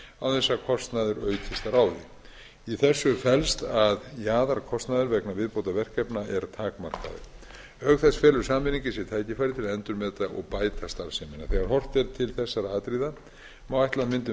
þess að kostnaður aukist að ráði í þessu felst að jaðarkostnaður vegna viðbótarverkefna er takmarkaður auk þess felur sameining í sér tækifæri til að endurmeta og bæta starfsemina þegar horft er til þessara atriða má ætla að myndun vegagerðarinnar feli í